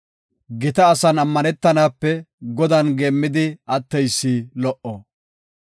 Gita asan ammanetanape Godan geemmidi atteysi lo77o.